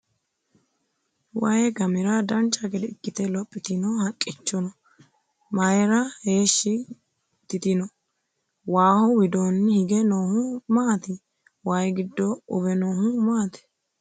waye gamira dancha gede ikkite lophitino haqqicho mayeera heeshshi titino? waaho widoonni hige noohu maati? waye giddo uwe noohu maati?